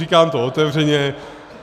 Říkám to otevřeně.